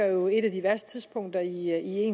jo et af de værste tidspunkter i i